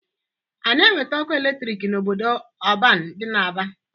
A na-eweta ọkụ eletrik n'obodo ọban dị n'Aba?